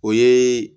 O ye